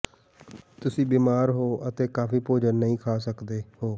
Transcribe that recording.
ਤੁਸੀਂ ਬਿਮਾਰ ਹੋ ਅਤੇ ਕਾਫ਼ੀ ਭੋਜਨ ਨਹੀਂ ਖਾ ਸਕਦੇ ਹੋ